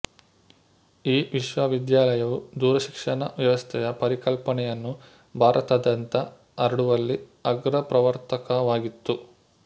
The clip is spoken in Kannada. ಈ ವಿಶ್ವವಿದ್ಯಾಲಯವು ದೂರಶಿಕ್ಷಣ ವ್ಯವಸ್ಥೆಯ ಪರಿಕಲ್ಪನೆಯನ್ನು ಭಾರತದಾದ್ಯಂತ ಹರಡುವಲ್ಲಿ ಅಗ್ರಪ್ರವರ್ತಕವಾಗಿತ್ತು